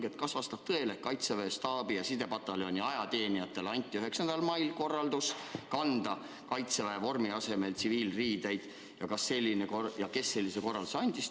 Esiteks, kas vastab tõele, et Kaitseväe staabi- ja sidepataljoni ajateenijatele anti 9. mail korraldus kanda Kaitseväe vormi asemel tsiviilriideid, ja kes sellise korralduse andis?